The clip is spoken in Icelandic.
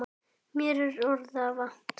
Mér er orða vant.